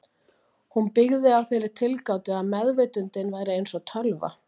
Hún byggði á þeirri tilgátu að meðvitundin væri eins og tölva.